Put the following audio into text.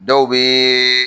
Dɔw bɛ